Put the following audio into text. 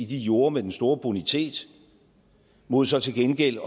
de jorde med den store bonitet mod så til gengæld